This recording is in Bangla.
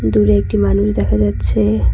দূরে একটি মানুষ দেখা যাচ্ছে।